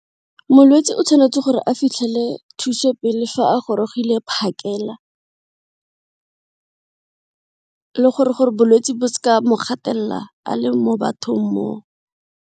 Molwetsi o tshwanetse gore a fitlhele thuso pele fa a gorogile phakela le gore-gore bolwetsi bo mo gatelela a le mo bathong mo.